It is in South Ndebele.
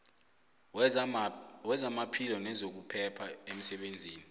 wezamaphilo nezokuphepha emsebenzini